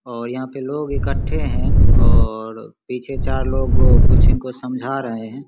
और यहाँ पे लोग इक्कठे है और पीछे चार लोग कुछ इनको समझा रहे है।